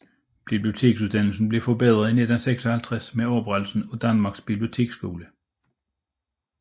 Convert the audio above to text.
Biblioteksuddannelsen blev forbedret i 1956 med oprettelsen af Danmarks Biblioteksskole